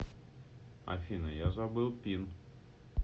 афина я забыл пин